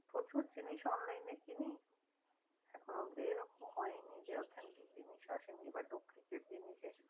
প্রচুর জিনিস online এ কিনি এখনো অব্দি এরকম হয় নি যে authentic জিনিস আসেনি বা ঢোকেনি